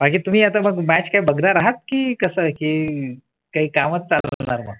आणि तुम्ही आता मग match काय बघणार आहात की कसं आहे की काही काळ म्हणता तर मग